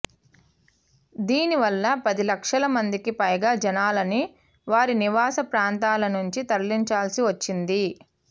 దీని వల్ల పది లక్షల మందికి పైగా జనాల్ని వారి నివాస ప్రాంతాల నుంచి తరలించాల్సి వచ్చింది